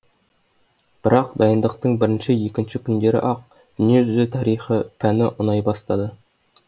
бірақ дайындықтың бірінші екінші күндері ақ дүние жүзі тарихы пәні ұнай бастады